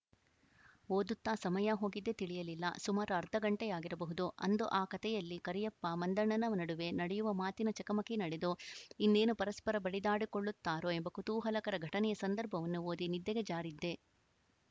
ಓದುತ್ತಾ ಸಮಯ ಹೋಗಿದ್ದೇ ತಿಳಿಯಲಿಲ್ಲಸುಮಾರು ಅರ್ಧ ಘಂಟೆಯಾಗಿರಬಹುದು ಅಂದು ಆ ಕತೆಯಲ್ಲಿ ಕರಿಯಪ್ಪ ಮಂದಣ್ಣನ ನಡುವೆ ನಡೆಯುವ ಮಾತಿನ ಚಕಮಕಿ ನಡೆದು ಇನ್ನೇನು ಪರಸ್ಪರ ಬಡಿದಾಡಿಕೊಳ್ಳುತ್ತಾರೋ ಎಂಬ ಕುತೂಹಲಕರ ಘಟನೆಯ ಸಂದರ್ಭವನ್ನು ಓದಿ ನಿದ್ದೆಗೆ ಜಾರಿದ್ದೆ